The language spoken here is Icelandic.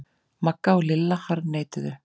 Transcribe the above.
Magga og Lilla harðneituðu.